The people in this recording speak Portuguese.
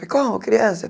Como criança?